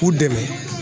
K'u dɛmɛ